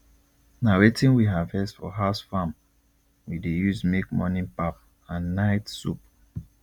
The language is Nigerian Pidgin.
na wetin we harvest for house farm we dey use make morning pap and night soup